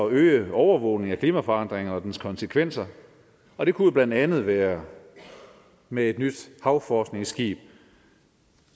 at øge overvågningen af klimaforandringen og dens konsekvenser og det kunne jo blandt andet være med et nyt havforskningsskib